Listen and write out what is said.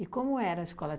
como era a escola?